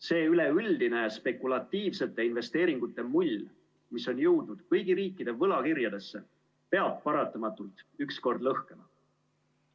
See üleüldine spekulatiivsete investeeringute mull, mis on jõudnud kõigi riikide võlakirjadesse, peab paratamatult ükskord lõhkema.